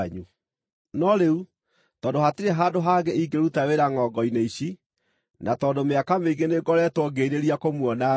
No rĩu, tondũ hatirĩ handũ hangĩ ingĩruta wĩra ngʼongo-inĩ ici, na tondũ mĩaka mĩingĩ nĩngoretwo ngĩĩrirĩria kũmuona-rĩ,